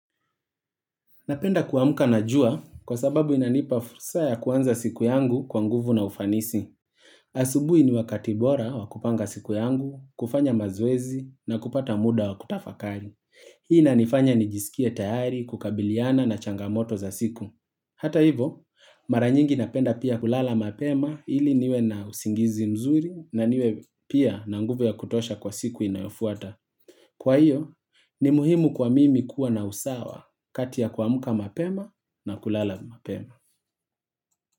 Napenda kuamka na jua kwa sababu inanipa fursa ya kuanza siku yangu kwa nguvu na ufanisi. Asubui ni wakati bora wa kupanga siku yangu, kufanya mazoezi na kupata muda wa kutafakali. Hii inanifanya ni jisikie tayari kukabiliana na changamoto za siku. Hata hivo, mara nyingi napenda pia kulala mapema iliniwe na usingizi mzuri na niwe pia na nguvu ya kutosha kwa siku inayofuata. Kwa hivyo, ni muhimu kwa mimi kuwa na usawa kati ya kuamka mapema na kulala mapema.